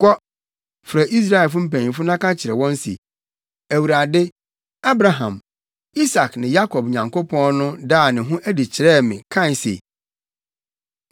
“Kɔ, frɛ Israelfo mpanyimfo na ka kyerɛ wɔn se, ‘ Awurade, Abraham, Isak ne Yakob Nyankopɔn no daa ne ho adi kyerɛɛ me, kae se: Mawɛn mo na mahu nea wɔde ayɛ mo wɔ Misraim.